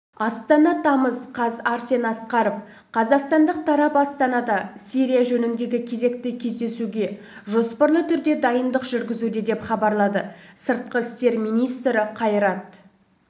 астана тамыз қаз арсен асқаров қазақстандық тарап астанада сирия жөніндегі кезекті кездесуге жоспарлы түрде дайындық жүргізуде деп хабарлады сыртқы істер министрі қайрат